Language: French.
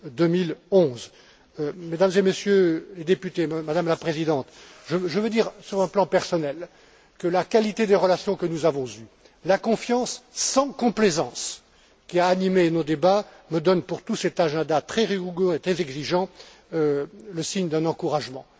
2011. Mesdames et Messieurs les députés, Madame la Présidente, je veux dire, sur un plan personnel, que la qualité des relations que nous avons eues, la confiance sans complaisance qui a animé nos débats, me donnent pour tout cet agenda très rigoureux et très exigeant un signe encourageant.